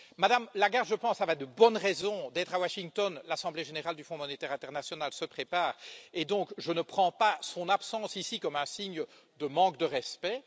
Mme Lagarde, je pense, avait de bonnes raisons d'être à Washington l'assemblée générale du Fonds monétaire international se prépare et donc je ne prends pas son absence ici comme un signe de manque de respect.